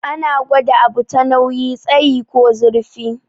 Ana gwada abu ta nauyi, tsayi ko zurfi.